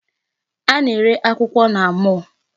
A na-ere akwụkwọ na mall.